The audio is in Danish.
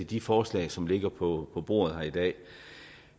de forslag som ligger på bordet her i dag